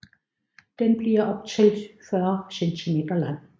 Den bliver op til 40 cm lang